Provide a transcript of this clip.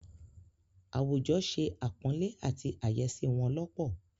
Àwùjọ se àpọ̀nlé àti àyẹ́sí wọn lọ́pọ̀.